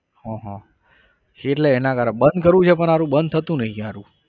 હા હા એટલે એના કારણે બંધ કરવું છે પણ હારું બંધ થતું નહીં હારું.